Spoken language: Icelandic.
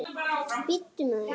Bíddu, maður.